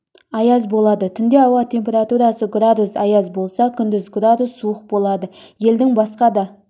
аяз болады түнде ауа температурасы градус аяз болса күндіз градус суық болады елдің басқа да